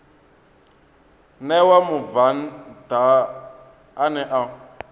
ṋewa mubvann ḓa ane a